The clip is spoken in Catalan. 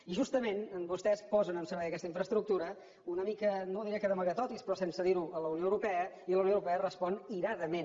i justament vostès posen en servei aquesta infraestructura una mica no diré que d’amagatotis però sense dir ho a la unió europea i la unió europea respon iradament